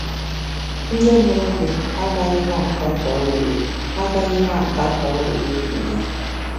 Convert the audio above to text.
Ndị mụrụ gị agaghị na-akatọ uwe agaghị na-akatọ uwe ị na-eyi.